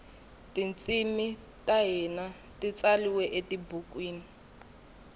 tintshimi tahhina titsaliwe etibhukwini